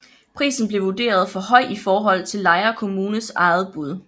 Prisen blev vurderet for høj i forhold til Lejre Kommunes eget bud